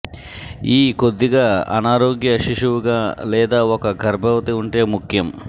ఈ కొద్దిగా అనారోగ్య శిశువుగా లేదా ఒక గర్భవతి ఉంటే ముఖ్యం